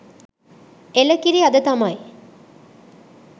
එළ කිරි අද තමයි